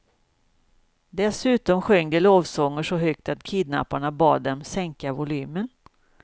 Dessutom sjöng de lovsånger så högt att kidnapparna bad dem sänka volymen.